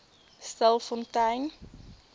stilfontein